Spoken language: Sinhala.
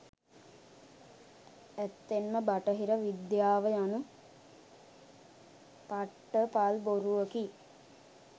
ඇත්තෙන්ම බටහිර විද්‍යාව යනු පට්ටපල් බොරුවකි.